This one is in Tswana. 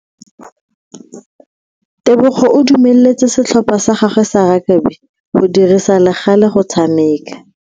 Tebogo o dumeletse setlhopha sa gagwe sa rakabi go dirisa le gale go tshameka.